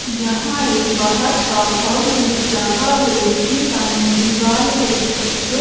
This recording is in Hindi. यहां एक बाहर का होल दिख रहा है जिसमें सामने दीवाल है जिसको--